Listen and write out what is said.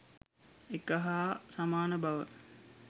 එක හා සමාන බව